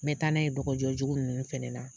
Mɛ taa n'a ye dɔgɔjɔ jugu ninnu fɛnɛ la.